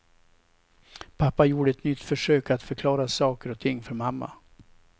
Pappa gjorde ett nytt försök att förklara saker och ting för mamma.